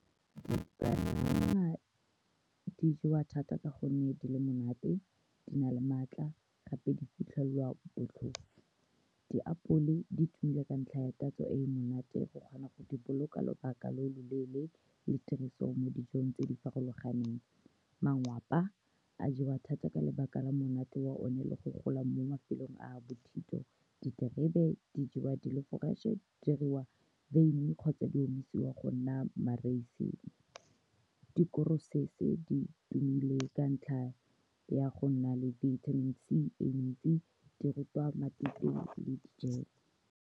di jewa thata ka gonne di le monate, di na le maatla, gape di fitlhelelwa botlhofo. Diapole di tumile ka ntlha ya tatso e e monate, o kgona go di boloka lobaka lo loleele le tiriso mo dijong tse di farologaneng. Mangwapa a jewa thata ka lebaka la monate wa one le go gola mo mafelong a a bothito. Diterebe di jewa di le fresh-e, di diriwa beine kgotsa di omisiwa go nna ma-raisin-ne. di tumile ka ntlha ya go nna le vitamin C e ntsi di rutwa matute le di-jam-me.